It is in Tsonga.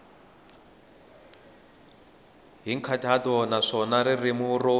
hi nkhaqato naswona ririmi ro